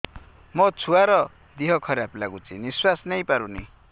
ମୋ ଛୁଆର ଦିହ ଖରାପ ଲାଗୁଚି ନିଃଶ୍ବାସ ନେଇ ପାରୁନି